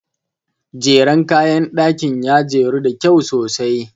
Jeren kayan ɗakin ya jeru da kyau sosai.